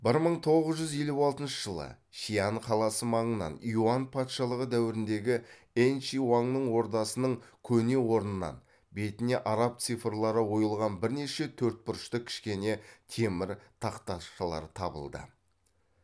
бір мың тоғыз жүз елу алтыншы жылы шиань қаласы маңынан юань патшалығы дәуіріндегі энши уаңның ордасының көне орнынан бетіне араб цифрлары ойылған бірнеше төртбұрышты кішкене темір тақташалар табылды